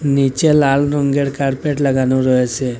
নীচে লাল রঙ্গের কার্পেট লাগানো রয়েসে।